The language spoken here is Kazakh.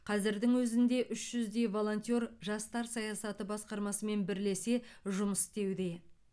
қазірдің өзінде үш жүздей волонтер жастар саясаты басқармасымен бірлесе жұмыс істеуде